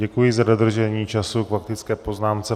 Děkuji za dodržení času k faktické poznámce.